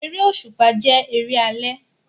Eré òṣùpá jẹ́ eré alẹ́